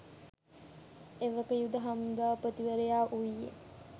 එවක යුද හමුදාපතිවරයා වුයේ